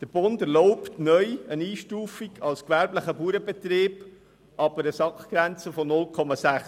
Der Bund erlaubt neu eine Einstufung als gewerblicher Bauernbetrieb ab einer SAK-Grenze von 0,6.